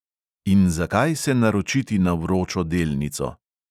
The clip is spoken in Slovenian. In zakaj se naročiti na vročo delnico?